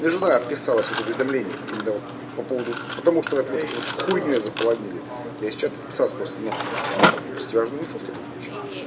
мне жена писала сюда уведомление именно вот по поводу потому что это вот это вот хуйнёй заполонили я с чат подписалась ну можно пропустить важную информацию в таком случае